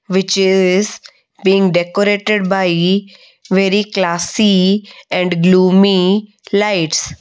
which is being decorated by very classy and gloomy lights.